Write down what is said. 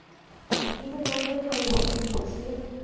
আহ এই যে জলবায়ু পরিবর্তন হচ্ছে